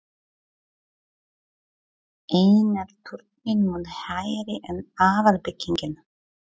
Einnig er turninn mun hærri en aðalbyggingin.